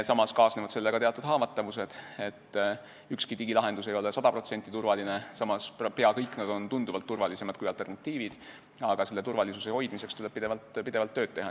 Samas kaasnevad sellega teatud haavatavused, ükski digilahendus ei ole 100% turvaline, samas on nad peaaegu kõik tunduvalt turvalisemad kui alternatiivid, aga selle turvalisuse hoidmiseks tuleb pidevalt tööd teha.